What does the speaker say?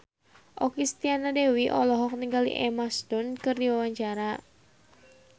Okky Setiana Dewi olohok ningali Emma Stone keur diwawancara